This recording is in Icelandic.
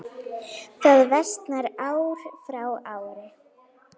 Það versnar ár frá ári.